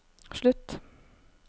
slutt